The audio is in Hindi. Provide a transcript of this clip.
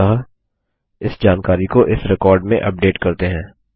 अतः इस जानकारी को इस रिकॉर्ड में अपडेट करते हैं